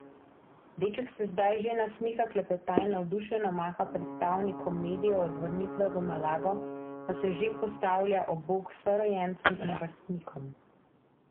Deček se zdaj že nasmiha, klepeta in navdušeno maha predstavnikom medijev, od vrnitve v Malago pa se že postavlja ob bok sorojencem in vrstnikom.